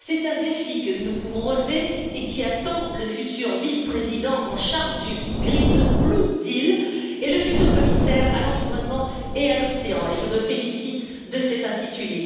C'est un défi que nous pouvons relever et qui attend le futur vice président en charge du Green Blue Deal et le futur commissaire à l'environnement et à l'océan et je me félicite de cet intitulé.